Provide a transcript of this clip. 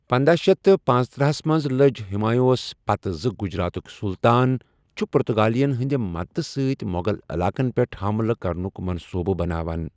پندہَ شیتھ تہٕ پنژتٔرہ ہَس منٛز لٔج ہمایوس پتہ زِ گجراتُک سُلطان چھُ پرتگالین ہندِ مددتہِ سۭتۍ مو٘غل علاقن پیٹھ حملہٕ کرنُک منصوبہٕ بناوان۔